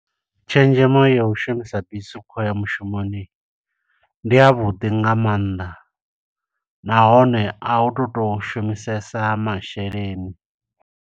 Tshenzhemo ya u shumisa bisi u khou ya mushumoni, ndi a vhuḓi nga maanḓa, nahone a u tu to shumisesa masheleni.